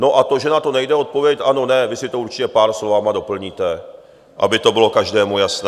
No a to, že na to nejde odpovědět ano - ne, vy si to určitě pár slovy doplníte, aby to bylo každému jasné.